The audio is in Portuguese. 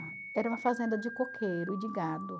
era uma fazenda de coqueiro e de gado.